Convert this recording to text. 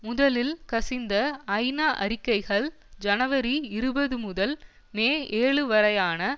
முதலில் கசிந்த ஐநா அறிக்கைகள் ஜனவரி இருபது முதல் மே ஏழு வரையான